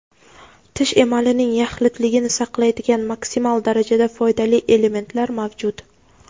tish emalining yaxlitligini saqlaydigan maksimal darajada foydali elementlar mavjud.